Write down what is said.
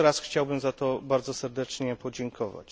Jeszcze raz chciałbym za to bardzo serdecznie podziękować.